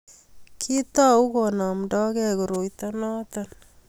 kiitou konamda gei koroito noto